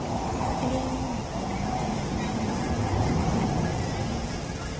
ũrĩa wonekaga nĩ ta maaĩ magĩitĩrĩria mũgũnda